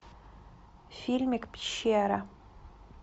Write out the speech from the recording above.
фильмик пещера